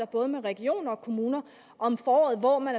både regioner og kommuner om foråret hvor man